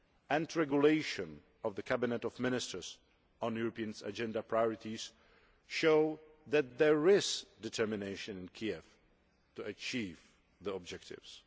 and the Regulation of the Cabinet of Ministers on the European agenda's priorities, show that there is determination in Kiev to achieve the objectives.